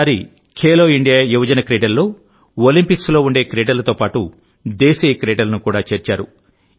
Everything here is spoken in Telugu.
ఈసారి ఖేలో ఇండియా యువజన క్రీడల్లో ఒలింపిక్స్ లో ఉండే క్రీడలతో పాటుదేశీయ క్రీడలను కూడా చేర్చారు